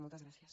moltes gràcies